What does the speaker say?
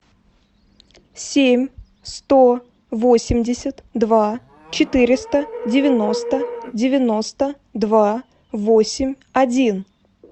семь сто восемьдесят два четыреста девяносто девяносто два восемь один